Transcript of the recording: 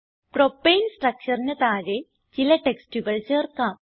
propane structureന് താഴെ ചില ടെക്സ്റ്റുകൾ ചേർക്കാം